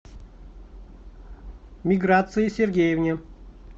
миграции сергеевне